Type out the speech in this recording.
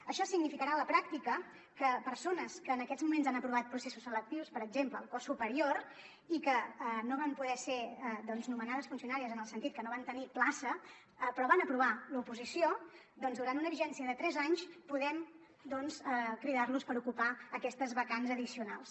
això significarà a la pràctica que persones que en aquests moments han aprovat processos selectius per exemple al cos superior i que no van poder ser nomenades funcionàries en el sentit que no van tenir plaça però van aprovar l’oposició durant una vigència de tres anys podem cridar los per ocupar aquestes vacants addicionals